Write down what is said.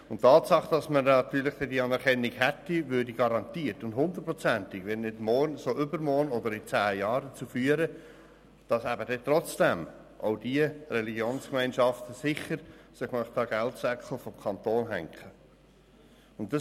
Und die Tatsache, dass man diese Anerkennung dann hätte, würde garantiert und 100-prozentig, wenn nicht morgen so übermorgen oder in zehn Jahren dazu führen, dass sich diese Religionsgemeinschaften dann sicher an den Geldsäckel des Kantons hängen.